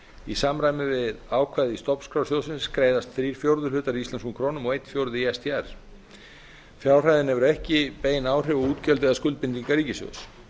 í samræmi við ákvæði í stofnskrá sjóðsins greiðast þrír fjórðu hlutar í íslenskum krónum og einn fjórði í sdr fjárhæðin hefur ekki bein áhrif á útgjöld eða skuldbindingar ríkissjóðs